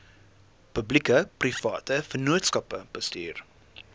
publiekeprivate vennootskappe bestuur